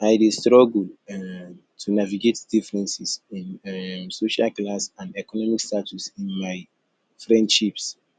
i dey struggle um to navigate differences in um social class and economic status in my friendships